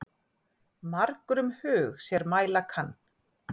Margur um hug sér mæla kann.